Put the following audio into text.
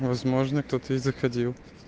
возможно кто-то и заходил